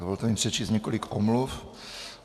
Dovolte mi přečíst několik omluv.